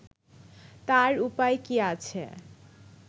তার উপায় কী আছে